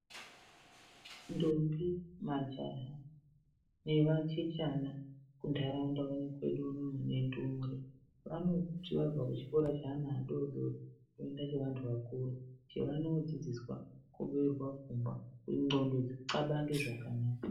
Ndombi, majaha nevachechena kuntaraunda kwedu uno nendumure vanoti vabve chikora cheana adodori voenda chevantu vakuru chevandodzidziswa kubeura pfungwa kuti ndxondo dzoxabange zvakanaka.